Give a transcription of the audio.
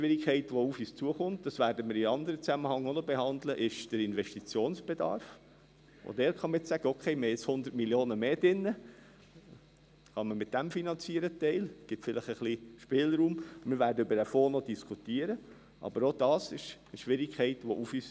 Wir haben nun die Ausgangslage, dass wir eigentlich 40–45 Mio. Franken und in den Folgejahren je 100 Mio. Franken mehr im Budget haben.